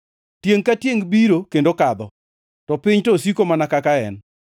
Tiengʼ ka tiengʼ biro kendo kadho, to piny to osiko mana kaka en.